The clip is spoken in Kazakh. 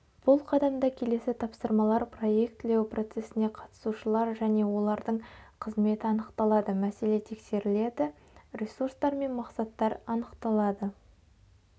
бұл қадамда келесі тапсырмалар проеклілеу процесіне қатысушылар және олардың қызметі анықталады мәселе тексеріледі ресурстар мен мақсаттар анықталады